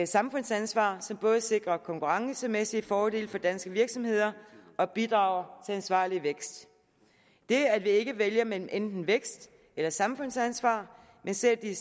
samfundsansvar som både sikrer konkurrencemæssige fordele for danske virksomheder og bidrager til ansvarlig vækst det at vi ikke vælger mellem enten vækst eller samfundsansvar men ser det